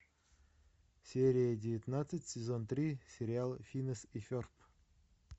серия девятнадцать сезон три сериал финес и ферб